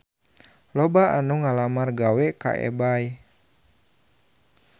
Loba anu ngalamar gawe ka Ebay